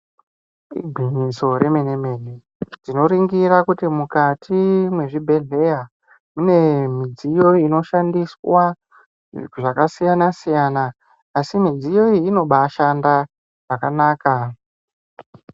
Bundutso remene mene tinoringira kuti mukati mezvibhedleya mune midziyo inoshandiswa zvakasiyana siyana asi midziyo iyi inobahashanda zvakanaka